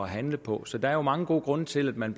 handle på så der er mange gode grunde til at man